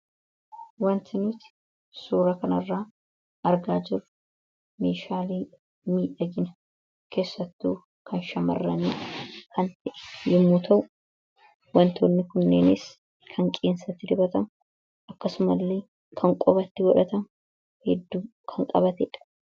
wanti nuuti suura kan irraa argaa jirru meeshaalee miidhagina keessattuu kan shamarranii yommu ta'u wantoonni kunneenis kan qeensatti dibatamu akkasuma illee kan qubatti godhatamu hedduu kan qabateedha